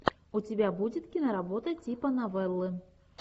у тебя будет киноработа типа новеллы